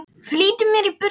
Flýtti mér í burtu.